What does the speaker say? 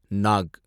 knock